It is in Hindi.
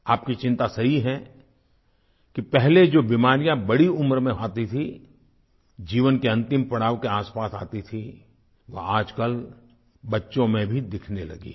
आपकी चिंता सही है कि पहले जो बीमारियाँ बड़ी उम्र में आती थीं जीवन के अंतिम पड़ाव के आसपास आती थीं वह आजकल बच्चों में भी दिखने लगी हैं